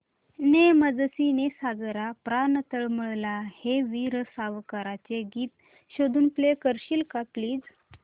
ने मजसी ने सागरा प्राण तळमळला हे वीर सावरकरांचे गीत शोधून प्ले करशील का प्लीज